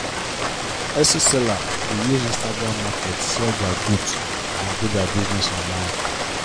etsy seller dey use instagram market sell dia goods and and grow dia business online.